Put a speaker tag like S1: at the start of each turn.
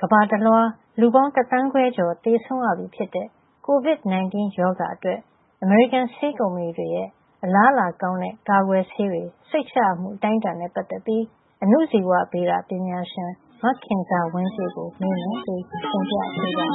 S1: ကမ္ဘာတလွှာ လူပေါင်း တစ်သန်းခွဲကျော် သေဆုံးလာပြီဖြစ်တဲ့ ကိုဗစ်-၁၉ ရောဂါအတွက် အမေရိကန်ဆေးကုမ္ပဏီတွေရဲ့ အလားအလာကောင်းတဲ့ ကာကွယ်ဆေးတွေ စိတ်ချရမှုအတိုင်းအတာနဲ့ ပတ်သက်ပြီး အဏုဇီဝဗေဒပညာရှင် မခင်ဇာဝင်းပြည့် ကို ဒေါ်ခင်မျိုးသက်က ဆက်သွယ်